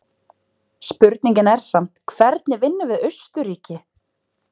Spurningin er samt hvernig vinnum við Austurríki?